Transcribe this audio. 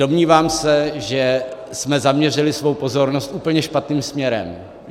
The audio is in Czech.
Domnívám se, že jsme zaměřili svou pozornost úplně špatným směrem.